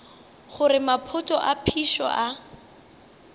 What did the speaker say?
gore maphoto a phišo a